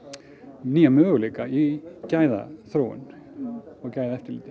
nýja möguleika í gæðaþróun og gæðaeftirliti